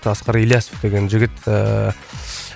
асқар ильясов деген жігіт ііі